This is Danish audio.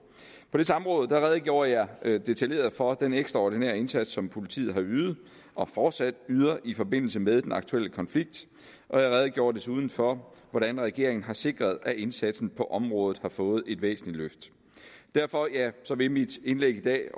på det samråd redegjorde jeg detaljeret for den ekstraordinære indsats som politiet har ydet og fortsat yder i forbindelse med den aktuelle konflikt og jeg redegjorde desuden for hvordan regeringen har sikret at indsatsen på området har fået et væsentligt løft derfor vil mit indlæg i dag